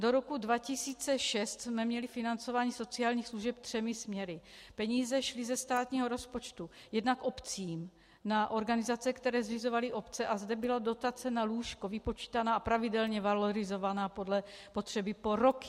Do roku 2006 jsme měli financování sociálních služeb třemi směry: Peníze šly ze státního rozpočtu jednak obcím na organizace, které zřizovaly obce, a zde byla dotace na lůžko vypočítaná a pravidelně valorizovaná podle potřeby po roky.